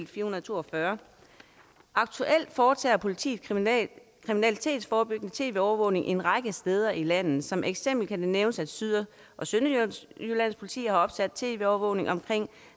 442 aktuelt foretager politiet kriminalitetsforebyggende tv overvågning en række steder i landet som eksempel kan det nævnes at syd og sønderjyllands politi har opsat tv overvågning omkring